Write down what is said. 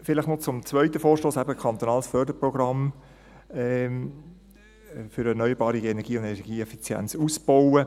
Vielleicht noch zum zweiten Vorstoss , eben zum kantonalen Förderprogramm für erneuerbare Energien und energieeffizientes Ausbauen.